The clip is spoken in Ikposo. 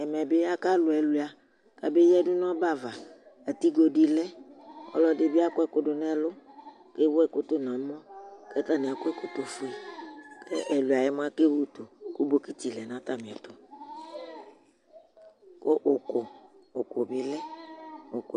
Ɛmɛ ɓɩ aka lʊ ɛkʊɩa ka meƴadʊ ŋʊ ɔɓɛ aʋa Atɩgo dɩ lɛ ƙɔlɔdɩ ɓɩ akɔ ɛƙʊdʊ ŋʊ ɛlʊ ƙewʊ ɛkʊ rʊ ŋʊ ɛmɔ, kataŋɩ aƙɔ ɛƙɔtɔ fʊe Kɛlʊɩa yz mʊa akewʊtʊ kʊ ɓɔƙɩtɩ lɛ ŋʊ atamɩ ɛtʊ, ƙʊ ʊƙʊ ɓɩ lɛ